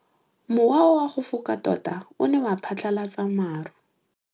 Mowa o wa go foka tota o ne wa phatlalatsa maru.